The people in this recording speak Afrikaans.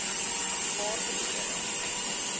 waarde kere